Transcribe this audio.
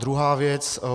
Druhá věc.